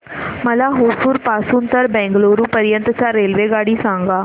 मला होसुर पासून तर बंगळुरू पर्यंत ची रेल्वेगाडी सांगा